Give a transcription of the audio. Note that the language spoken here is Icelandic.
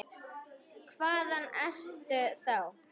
Hvaðan ertu þá?